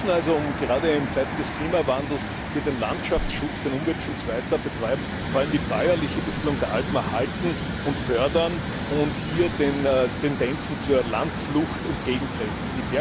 Wir müssen also, um gerade in Zeiten des Klimawandels hier den Landschaftsschutz, den Umweltschutz weiter zu betreiben, vor allem die bäuerliche Besiedlung der Alpen erhalten und fördern und den Tendenzen zur Landflucht entgegentreten.